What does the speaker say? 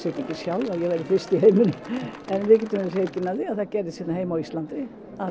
sjálf að ég væri fyrst í heiminum en við getum verið hreykin af því að það gerðist hérna heima á Íslandi